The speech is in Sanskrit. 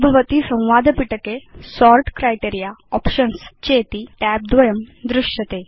भवान् पश्यति यत् सोर्ट् क्राइटेरिया आप्शन्स् च इति tab द्वय युत संवाद पिटक160 आविर्भवति